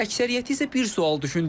Əksəriyyəti isə bir sual düşündürür.